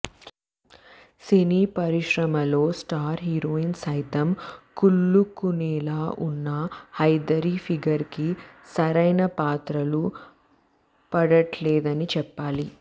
సినీ పరిశ్రమలో star heroines సైతం కుళ్ళుకునేలా ఉన్న హైదరి ఫిగర్ కి సరైన పాత్రలు పడట్లేదని చెప్పాలి